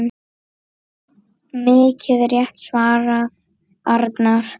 Mikið rétt svarar Arnar.